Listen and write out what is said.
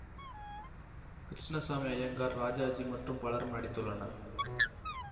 கிருஷ்ணசாமி ஜயங்கார் ராஜாஜி மற்றும் பலரும் நடித்துள்ளனர்